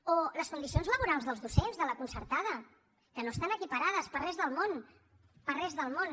o les condicions laborals dels docents de la concertada que no estan equiparades per res del món per res del món